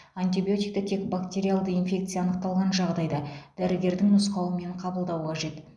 антибиотикті тек бактериалды инфекция анықталған жағдайда дәрігердің нұсқауымен қабылдау қажет